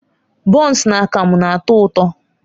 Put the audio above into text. Bọns na akamu na-atọ ụtọ.